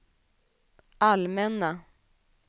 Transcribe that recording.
allmänna